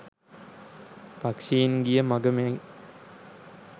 පක්‍ෂීන් ගිය මඟ මෙන්